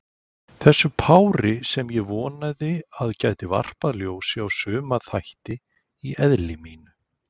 Þessu pári, sem ég vonaði að gæti varpað ljósi á suma þætti í eðli mínu.